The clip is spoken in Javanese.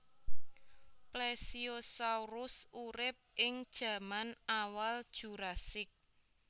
Plesiosaurus urip ing jaman awal Jurassik